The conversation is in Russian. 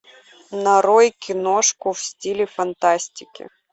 нарой киношку в стиле фантастики